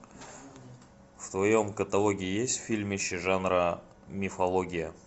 в твоем каталоге есть фильмище жанра мифология